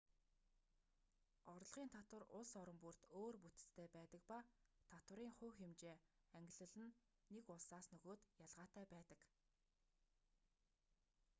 орлогын татвар улс орон бүрд өөр бүтэцтэй байдаг ба татварын хувь хэмжээ ангилал нь нэг улсаас нөгөөд ялгаатай байдаг